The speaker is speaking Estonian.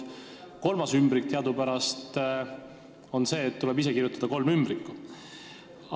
Kolmas nõuanne on teadupärast see, et tuleb ise ümbrikutesse kolm nõuannet panna.